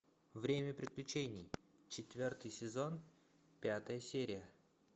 время приключений четвертый сезон пятая серия